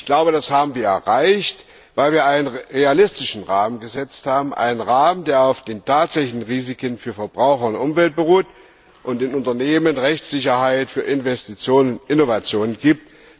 Ich glaube, das haben wir erreicht, weil wir einen realistischen Rahmen gesetzt haben, einen Rahmen, der auf den tatsächlichen Risiken für Verbraucher und Umwelt beruht und den Unternehmen Rechtssicherheit für Investitionen und Innovationen gibt.